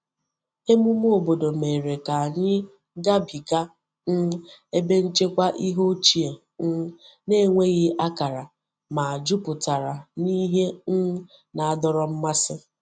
Emume obodo mere ka anyị gabiga um ebe nchekwa ihe ochie um na-enweghị akara, ma jupụtara n’ihe um na-adọrọ mmasị.